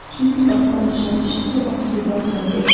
Çünki qapıdan düşən işıq topası birdən söndü.